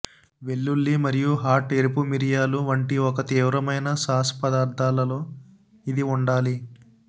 వెల్లుల్లి మరియు హాట్ ఎరుపు మిరియాలు వంటి ఒక తీవ్రమైన సాస్ పదార్ధాలలో ఇది ఉండాలి